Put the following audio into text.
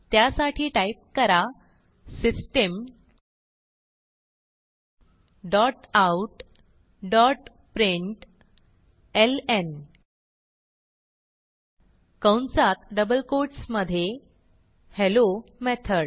त्यासाठी टाईप करा system dot out dot println कंसातdouble कोट्स मधे हेल्लो मेथॉड